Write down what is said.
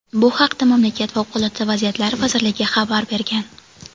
Bu haqda mamlakat Favqulodda vaziyatlar vazirligi xabar bergan.